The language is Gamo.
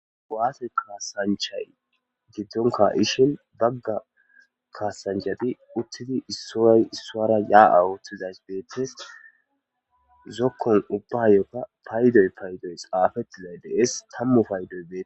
Waate kaasanchay giddonka ishin bagga kaasanchati uttidi issoy issoara yaa'awoothtizays deettes zokkon ubbayokka paydoy paydoy xaafetti lay dees tammu paydoy beete.